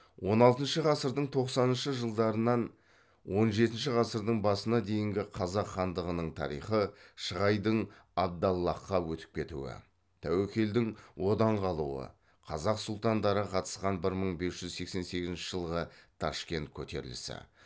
он алтыншы ғасырдың тоқсаныншы жылдарынан он жетінші ғасырдың басына дейінгі қазақ хандығының тарихы шығайдың абдаллахқа өтіп кетуі тәуекелдің одан қалуы қазақ сұлтандары қатысқан бір мың бір жүз сексен сегізінші жылғы ташкент көтерілісі